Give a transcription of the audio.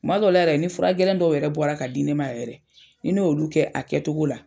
Kumadɔ la yɛrɛ ni fura gɛlɛn dɔw yɛrɛ bɔra ka di ne ma yɛrɛ, ni n'oolu kɛ a kɛtogo la.